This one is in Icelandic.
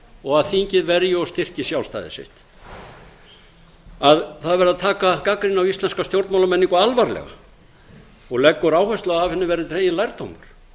og að þingið verji og styrki sjálfstæði sitt að það verði að taka gagnrýni á íslenska stjórnmálamenningu alvarlega og leggur áherslu á að af henni verði dreginn lærdómur